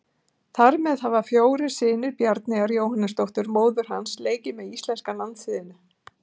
Þar með hafa allir fjórir synir Bjarneyjar Jóhannesdóttur, móður hans, leikið með íslenska landsliðinu.